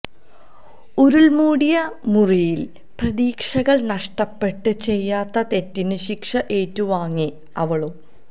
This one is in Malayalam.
ഇരുൾമൂടിയ മുറിയിൽ പ്രതീക്ഷകൾ നഷ്ടപ്പെട്ട് ചെയ്യാത്ത തെറ്റിന് ശിക്ഷ ഏറ്റുവാങ്ങി അവളും